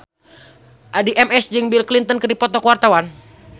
Addie MS jeung Bill Clinton keur dipoto ku wartawan